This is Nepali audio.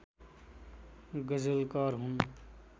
गजलकार हुन्